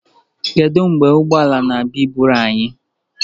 Kedu mgbe ụgbọ ala na-abịa iburu anyị?